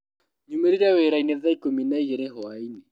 Nyumĩrire wĩrainĩ tha ikũmi na igĩrĩ hwainĩ.